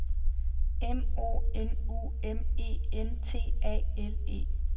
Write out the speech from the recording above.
M O N U M E N T A L E